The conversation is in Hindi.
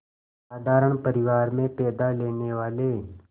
साधारण परिवार में पैदा लेने वाले